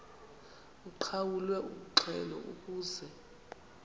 uqhawulwe umxhelo ukuze